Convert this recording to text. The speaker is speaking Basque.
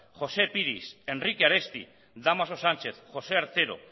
josé piris enrique aresti dámaso sanchez josé artero